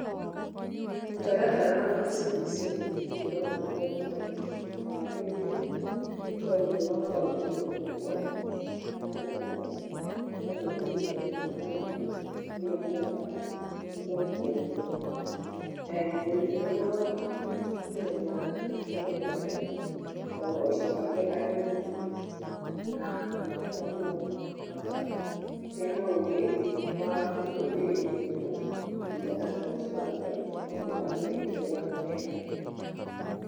Mũtaratara wa CBC niĩ ndĩrona ũrĩ mwega mũno na wagĩrĩire nĩ tondũ nĩ ũrahota gũteithĩa mũrutwo na njĩra nene, na ũgateithĩrĩria ngĩnya mwarimũ ũrĩa ekũhota gũthomĩthĩa mũrutwo. Mũrutwo nĩ arahota kũmenya kĩheo gĩake, na ũhoti wake arĩ o mũnini. Nake mwarimũ akahota kũgĩa na ũũgĩ wa gũteithĩrĩria mũrutwo kũrĩngana na ũhoti wake na ũũgĩ wake ũrĩa enaguo.